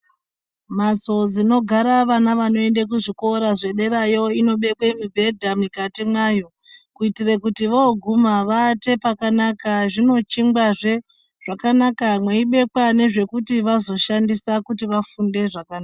Mhatso dzinogara vana vanoende kuzvikora zvederayo, inobekwe mibhedha mikati mwayo, kuitire kuti voguma vaate pakanaka. Zvinochingwazve zvakanaka, mweibekwa nezvekushandisa kuti vafunde zvakanaka.